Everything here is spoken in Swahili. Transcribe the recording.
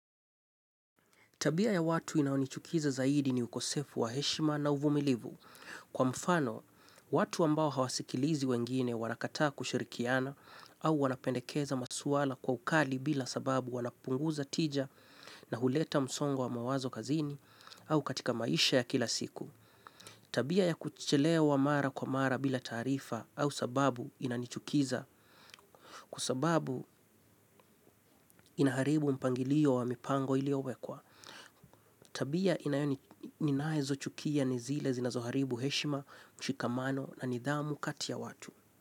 Tabia ya watu inayo nichukiza zaidi ni ukosefu wa heshima na uvumilivu. Kwa mfano, watu ambao hawasikilizi wengine wanakataa kushirikiana au wanapendekeza maswala kwa ukali bila sababu. Wanapunguza tija na huleta msongo wa mawazo kazini au katika maisha ya kila siku. Tabia ya kuchelewa mara kwa mara bila taarifa au sababu inanichukiza kwa sababu inaharibu mpangilio wa mipango iliowekwa. Tabia ninazochukia ni zile zinazoharibu heshima, mshikamano na nidhamu kati ya watu.